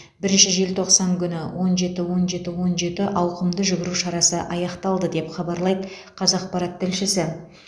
бірінші желтоқсан күні он жеті он жеті он жеті ауқымды жүгіру шарасы аяқталды деп хабарлайды қазақпарат тілшісі